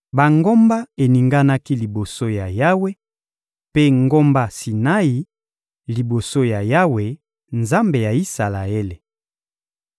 Bangomba eninganaki liboso ya Yawe, mpe ngomba Sinai, liboso ya Yawe, Nzambe ya Isalaele.